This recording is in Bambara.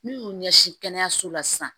N'u y'u ɲɛsin kɛnɛyaso la sisan